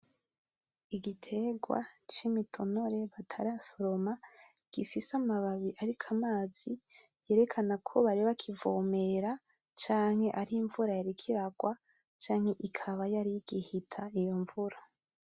Igiterwa c’imitonore batarasoroma gifise amababi ariko amazi yerekanako bari bakivomera canke ari imvura canke ikaba yari igihita iyo mvura.